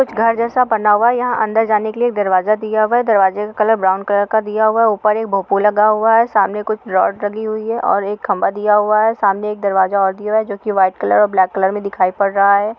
-- घर जैसा बना हुआ है | यहाँ अंदर जाने के लिए दरवाजा दिया गया है | दरवाजा का कलर ब्राउन कलर का दिया हुआ है | ऊपर एक भोपू लगा हुआ है | सामने कुछ रोड लगी हुई है और एक खम्बा दिया हुआ है | सामने एक दरवाजा और दिया हुआ है जो की वाइट कलर और ब्लैक कलर में दिखाई पड़ रहा है।